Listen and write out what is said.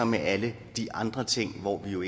med alle de andre ting hvor vi jo